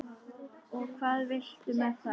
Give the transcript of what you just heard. Og hvað viltu með það?